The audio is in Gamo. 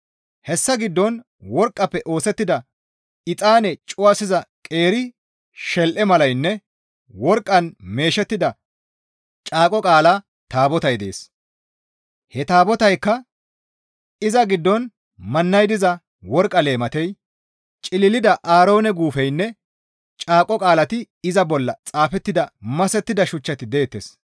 Hessa giddon worqqafe oosettida exaane cuwasiza qeeri shel7e malaynne worqqan meeshettida caaqo qaala taabotay dees; he taabotaykka iza giddon mannay diza worqqa leematey, cililida Aaroone guufeynne caaqo qaalati iza bolla xaafettida masettida shuchchati deettes.